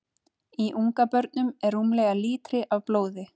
Í ungabörnum er rúmlega lítri af blóði.